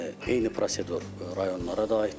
Eyni prosedur rayonlara da aiddir.